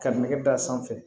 Ka nɛgɛ d'a sanfɛ